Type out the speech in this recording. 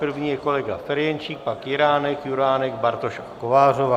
První je kolega Ferjenčík, pak Jiránek, Juránek, Bartoš a Kovářová.